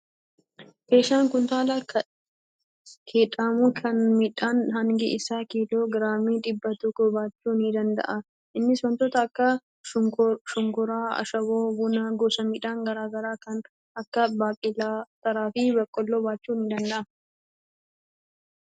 Keeshaan kuntaala kedhamu kun midhaan hangi isaa kiiloo giraamii dhibba tokko baachuu ni danda'a. Innis wantoota akka shukkaaraa, ashaboo, bunaa, gosa midhaan garaa garaa kan akka baaqelaa, ateraa fi boqqolloo baachuu ni danda'a.